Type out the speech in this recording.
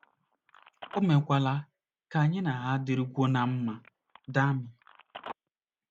O meekwala ka anyị na ha dịrịkwuo ná mma. ”— Dami.